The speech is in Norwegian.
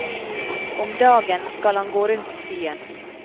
Om dagen skal han gå rundt byen.